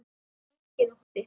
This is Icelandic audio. Enginn ótti.